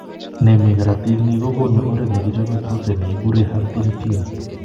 Ne mi karotiik ni kokonu oret ne kichope protein ne kikure huntingtin.